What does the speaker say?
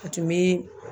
A tun bɛ